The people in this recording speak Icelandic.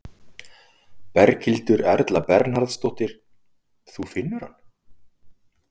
Berghildur Erla Bernharðsdóttir: Þú finnur hann?